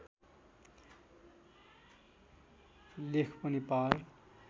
लेख पनि पार